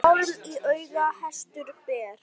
Hjálm í auga hestur ber.